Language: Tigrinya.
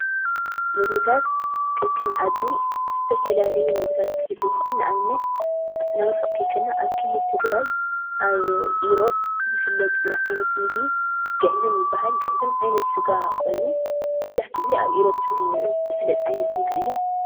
ምግብታት ከከም ዓዱ ዝተፈላለዩ ምግብታት ክህልው ይኽእል። ንኣብነት ናብ ርሑቕ ኸይከድና ኣብ ክልል ትግራይ ኣብ ኢሮብ ዝፍለጥ ዓይነት ምግቢ ግዕዝም ይብሃል፡፡ ግዕዝም ዓይነት ስጋ ኾይኑ መብዛሕትኡ ግዜ ኣብ ኢሮብ ዝፍለጥ ዓይነት ምግቢ እዩ፡፡